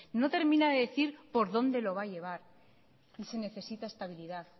no termina de decir por donde lo va a llevar y se necesita estabilidad